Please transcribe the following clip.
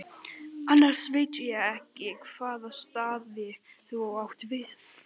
Annars veit ég ekki hvaða staði þú átt við.